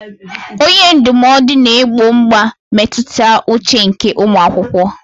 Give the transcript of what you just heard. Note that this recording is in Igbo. Onye ndụmọdụ na-egbo mkpa mmetụta uche nke ụmụ akwụkwọ.